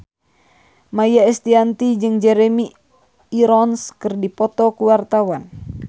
Maia Estianty jeung Jeremy Irons keur dipoto ku wartawan